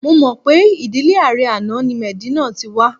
Mo mọ̀ pé ìdílé ààrẹ àná ni Medina ti wa